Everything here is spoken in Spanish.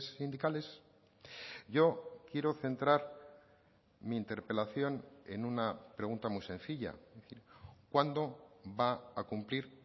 sindicales yo quiero centrar mi interpelación en una pregunta muy sencilla cuándo va a cumplir